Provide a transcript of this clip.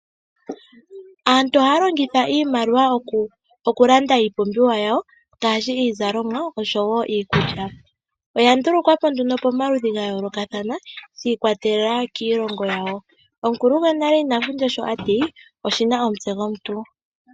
Aantu oha ya longitha iimaliwa oku landa iipumbiwa yawo ngashi iizalomwa oshowo iikulya. Oya ndulukwapo nduno pamaludhi gayo lokathana gi ikwatelela kiilongo yawo. Omukulu gonale ina fundja sho ati oshina omutse gomuntu.